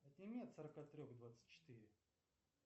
отними от сорока трех двадцать четыре